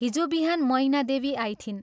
हिजो बिहान मैना देवी आइथिन्।